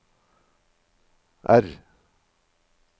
R